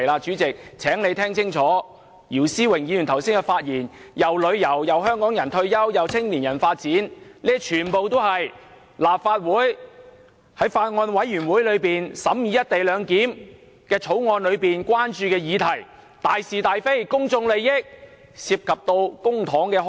主席，請你聽清楚，姚思榮議員剛才的發言既提及旅遊，也有提到香港人的退休問題和青年人的發展，全部都是法案委員會審議《條例草案》時所關注的議題，大是大非，公眾利益，亦涉及公帑。